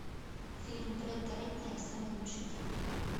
фильм бретта ретнера самый лучший день